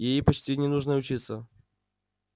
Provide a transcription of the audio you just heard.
ей почти не нужно учиться